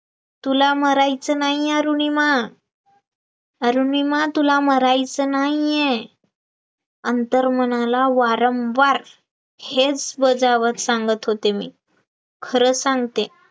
तुला मरायचं नाहीये अरुणिमा, अरुणिमा तुला मरायचं नाहीये, आंतरमनाला वारंवार हेच बजावत सांगत होतें मी, खर सांगते